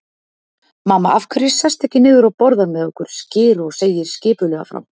Mamma, af hverju sestu ekki niður og borðar með okkur skyr og segir skipulega frá.